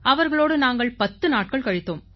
அவர்களோடு நாங்கள் பத்து நாட்கள் கழித்தோம்